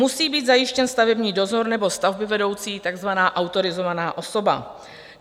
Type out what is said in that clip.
Musí být zajištěn stavební dozor nebo stavbyvedoucí, takzvaná autorizovaná osoba.